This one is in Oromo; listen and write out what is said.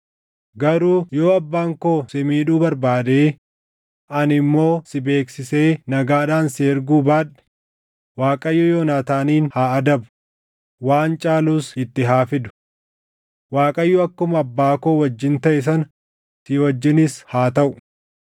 Garuu yoo abbaan koo si miidhuu barbaadee ani immoo si beeksisee nagaadhaan si erguu baadhe, Waaqayyo Yoonaataanin haa adabu; waan caalus itti haa fidu. Waaqayyo akkuma abbaa koo wajjin taʼe sana si wajjinis haa taʼu.